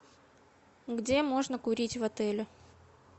где можно курить в отеле